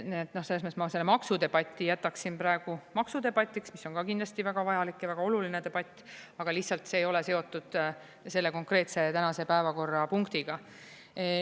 Selles mõttes ma selle maksudebati jätaksin praegu maksudebatiks, mis on ka kindlasti väga vajalik ja väga oluline debatt, aga lihtsalt see ei ole seotud selle konkreetse tänase päevakorrapunktiga.